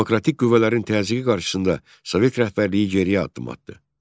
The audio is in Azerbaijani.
Demokratik qüvvələrin təzyiqi qarşısında Sovet rəhbərliyi geriyə addım atdı.